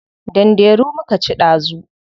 Danderu muka ci dazu.